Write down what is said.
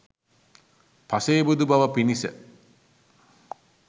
පසේබුදු බව පිණිස